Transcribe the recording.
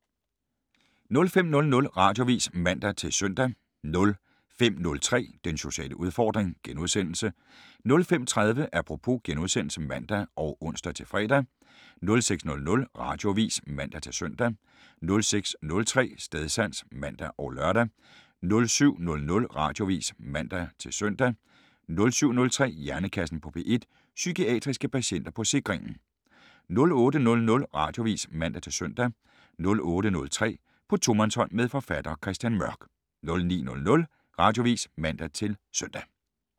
05:00: Radioavis (man-søn) 05:03: Den sociale udfordring * 05:30: Apropos *(man og ons-fre) 06:00: Radioavis (man-søn) 06:03: Stedsans (man og lør) 07:00: Radioavis (man-søn) 07:03: Hjernekassen på P1: Psykiatriske patienter på Sikringen 08:00: Radioavis (man-søn) 08:03: På tomandshånd med forfatter Christian Mørk 09:00: Radioavis (man-søn)